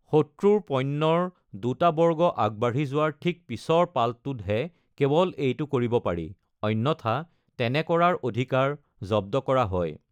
শত্ৰুৰ পণ্যৰ দুটা বৰ্গ আগবাঢ়ি যোৱাৰ ঠিক পিছৰ পালটোতহে কেৱল এইটো কৰিব পাৰি, অন্যথা তেনে কৰাৰ অধিকাৰ জব্দ কৰা হয়।